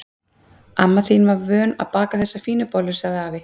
Amma þín er vön að baka þessar fínu bollur sagði afi.